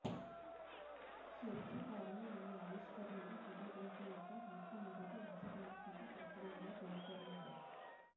చరిత్రకారులు ఈ ఆవిష్కరణను ఫోటోగ్రఫీ యొక్క మొట్టమొదటి ఆచరణాత్మక ప్రక్రియగా పేర్కొన్నారు